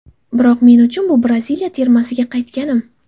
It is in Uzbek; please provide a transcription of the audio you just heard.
Biroq, men uchun bu Braziliya termasiga qaytganim.